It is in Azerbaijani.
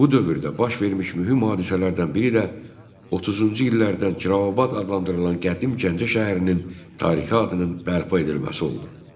Bu dövrdə baş vermiş mühüm hadisələrdən biri də 30-cu illərdən Kirovabad adlandırılan qədim Gəncə şəhərinin tarixi adının bərpa edilməsi oldu.